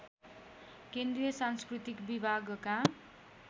केन्द्रीय सांस्कृतिक विभागका